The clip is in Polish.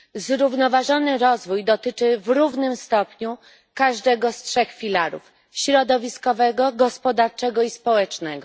Zrównoważony rozwój dotyczy w równym stopniu każdego z trzech filarów środowiskowego, gospodarczego i społecznego.